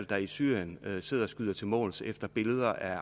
der i syrien sidder og skyder til måls efter billeder af